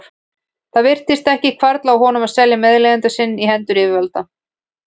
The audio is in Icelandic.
Það virtist ekki hvarfla að honum að selja meðleigjanda sinn í hendur yfirvalda.